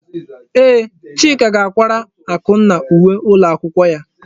Ee, Chika ga akwara Akunna uwe ụlọ akwụkwọ ya.